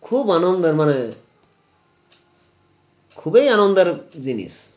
খুব আনন্দের মানে খুবই আনন্দের জিনিস